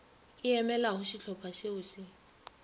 e emelago šehlopha šeo še